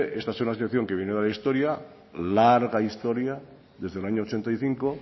esta es una situación que viene de la historia larga historia desde el año ochenta y cinco